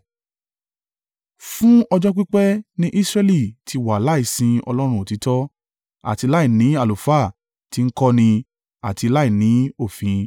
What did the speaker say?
Fún ọjọ́ pípẹ́ ni Israẹli ti wà láì sin Ọlọ́run òtítọ́, àti láìní àlùfáà ti ń kọ́ ni, àti láìní òfin.